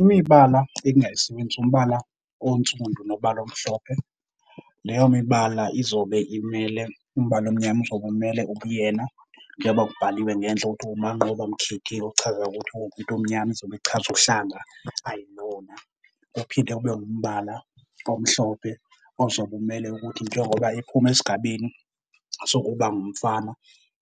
Imibala engingayisebenzisi, umbala onsundu nombala omhlophe. Leyo mibala izobe imele, umbala omnyama uzobe umele ubuyena njeba kubhaliwe ngenhla ukuthi uManqoba Mkhithi okuchaza ukuthi uwumuntu omnyama izobe ichaza uhlanga ayilona. Kuphinde kube ngumbala omhlophe ozobe umele ukuthi njengoba ephuma esigabeni sokuba ngumfana